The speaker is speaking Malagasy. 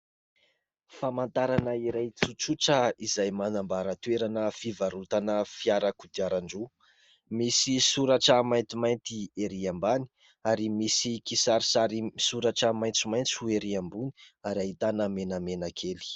famantarana iray tsotsotra izay manambaratoerana fivarotana fiarak'o diaran-droa misy soratra mainty mainty erỳam-bany ary misy kisari sary misoratra maintso maintsy ho erỳ ambony ary hahitana menamena kely